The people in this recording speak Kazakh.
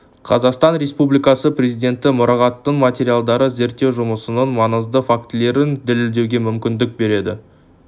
қазақстан республикасы президенті мұрағатының материалдары зерттеу жұмысының маңызды фактілерін дәлелдеуге мүмкіндік берді